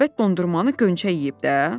Əlbəttə dondurmanı Gönçə yeyib də.